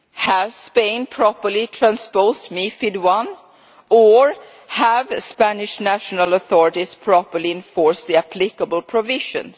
Has Spain properly transposed MiFID I or have Spanish national authorities properly enforced the applicable provisions?